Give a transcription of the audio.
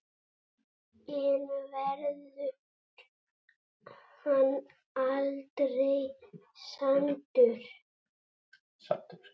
En verður hann aldrei saddur?